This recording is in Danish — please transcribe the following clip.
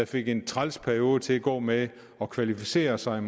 fik en træls periode til at gå med at kvalificere sig